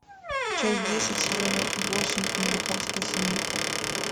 часть десять сезон восемь американская семейка